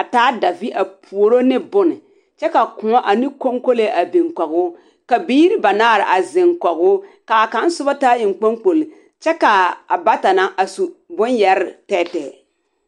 a taa davẽ a puoro ne bone kyɛ ka kõɔ ane koŋkolee a biŋ kɔge o. ka biiri banaare a zeŋ kɔge o. ka a kaŋ soba taa eŋkpoŋkpoli kyɛ ka abata na su bone yɛrre tɛɛtɛɛ.